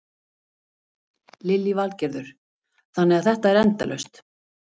Lillý Valgerður: Þannig að þetta er endalaust?